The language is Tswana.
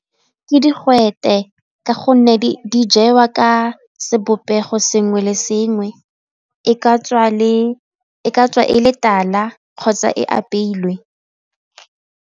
Ke digwete ka gonne di jewa ka sebopego sengwe le sengwe e ka tswa e le tala kgotsa e apeilwe.